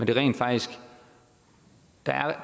der rent faktisk er